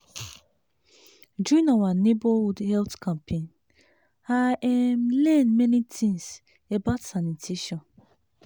during our neighborhood health campaign i um learn many things about sanitation.